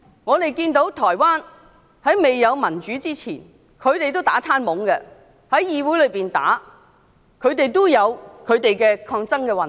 我們看到台灣未有民主前，議會內議員打架也打得厲害，亦有抗爭運動。